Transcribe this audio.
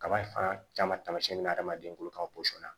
Kaba fan caman tamasiyɛn bɛ na hadamaden ko ka na